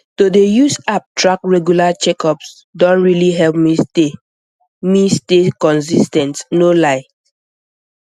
to dey use app track regular checkups don really help me stay me stay consis ten t no lie